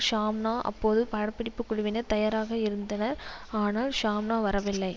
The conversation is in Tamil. ஷாம்னா அப்போதும் படப்பிடிப்பு குழுவினர் தயாராக இருந்தனர் ஆனால் ஷாம்னா வரவில்லை